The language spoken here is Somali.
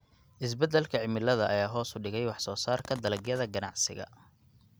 Isbeddelka cimilada ayaa hoos u dhigay wax soo saarka dalagyada ganacsiga.